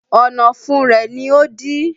Ọ̀nà ọ̀fun rẹ ni ó dí